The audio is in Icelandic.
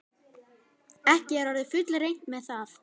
Er ekki orðið fullreynt með það?